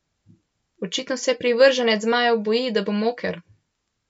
Očitno se privrženec zmajev boji, da bo moker.